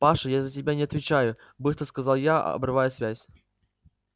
паша я за себя не отвечаю быстро сказал я обрывая связь